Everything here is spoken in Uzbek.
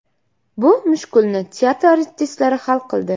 Bu mushkulni teatr artistlari hal qildi.